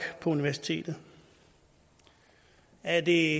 på universitetet er det